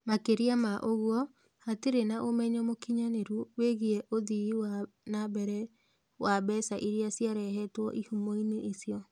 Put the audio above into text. Makĩria ma ũguo, hatirĩ na ũmenyo mũkinyanĩru wĩgiĩ ũthii wa na mbere wa mbeca iria ciarehetwo ĩhumo-inĩ icio.